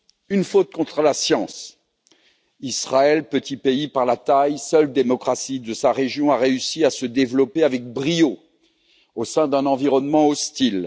Une faute contre la science Israël, petit pays par la taille, seule démocratie de sa région, a réussi à se développer avec brio au sein d'un environnement hostile.